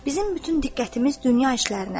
Bizim bütün diqqətimiz dünya işlərinədir.